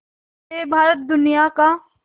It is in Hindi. से भारत दुनिया का